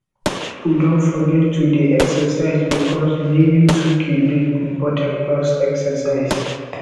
pipo don forget to dey excercise bikos daily 2k dey important pass excercise